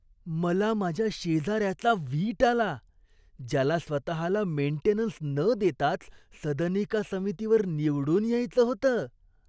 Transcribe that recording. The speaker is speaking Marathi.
मला माझ्या शेजाऱ्याचा वीट आला, ज्याला स्वतहाला मेंटेनन्स न देताच सदनिका समितीवर निवडून यायचं होतं.